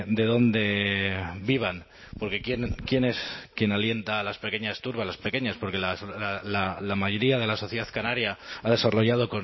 de dónde vivan porque quién es quien alienta a las pequeñas turbas las pequeñas porque la mayoría de la sociedad canaria ha desarrollado